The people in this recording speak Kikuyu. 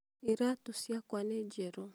iratũ ciakwa nĩ njerũ